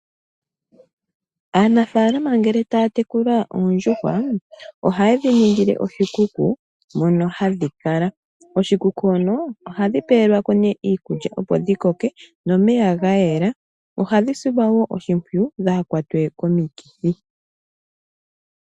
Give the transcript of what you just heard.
Aanafaalama ngele taya tekula oondjuhwa, oha ye dhi ningile oshikuku mono hadhi kala. Oshikuku hono ohadhi pewelwako nee iikulya opo dhi koke nomeya ga yela. Ohadhi silwa woo oshimpwuyu dhaa kwatwe komikithi.